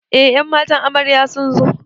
Eh ƴan matan amarya sunzo